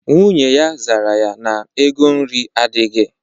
Nwunye ya zara ya na ego nri adịghị.